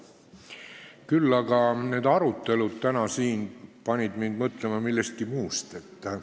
Küll aga panid need arutelud täna siin mind mõtlema millestki muust.